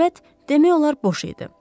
Səbət demək olar boş idi.